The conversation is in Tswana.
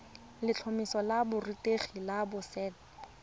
letlhomeso la borutegi la boset